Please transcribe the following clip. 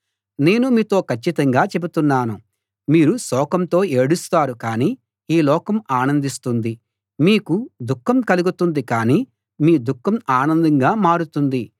నేను మీతో కచ్చితంగా చెబుతున్నాను మీరు శోకంతో ఏడుస్తారు కాని ఈ లోకం ఆనందిస్తుంది మీకు దుఃఖం కలుగుతుంది కాని మీ దుఃఖం ఆనందంగా మారుతుంది